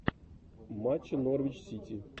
матча норвич сити